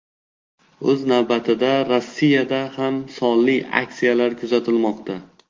O‘z navbatida, Rossiyada kam sonli aksiyalar kuzatilmoqda.